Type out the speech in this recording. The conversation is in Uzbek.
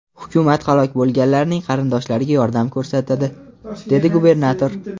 Hukumat halok bo‘lganlarning qarindoshlariga yordam ko‘rsatadi”, dedi gubernator.